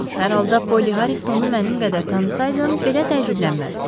Hər halda Poli Harringtonu mənim qədər tanısaydın, belə təəccüblənməzdin.